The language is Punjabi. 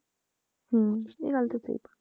ਹਮ ਇਹ ਗੱਲ ਤਾਂ ਸਹੀ ਹੈ